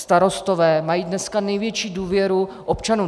Starostové mají dneska největší důvěru občanů.